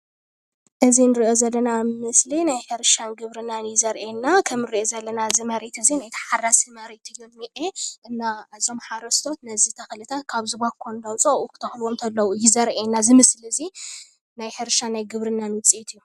እዚ እንሪኦ ዘለና ምስሊ ናይ ሕርሻን ግብርናን እዩ ዘርእየና ከም ንሪኦ ዘለና እዚ መሬት እዚ ናይ ታሓራሲ መሬት እዩ ንኤ እና እዞም ሓረስቶት ነዚ ተኽልታት ካብዚ ባኮ እንዳዉፅኡ ኣብኡ ክተኽልዎ እንከለዉ እዩ ዘርእየና እዚ ምስሊ እዚ ናይ ሕርሻን ናይ ግብርናን ዉፅኢት እዩ።